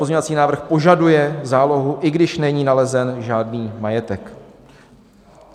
Pozměňovací návrh požaduje zálohu, i když není nalezen žádný majetek.